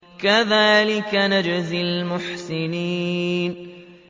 كَذَٰلِكَ نَجْزِي الْمُحْسِنِينَ